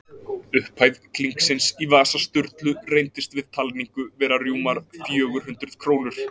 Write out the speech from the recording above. Upphæð klinksins í vasa Sturlu reyndist við talningu vera rúmar fjögur hundruð krónur.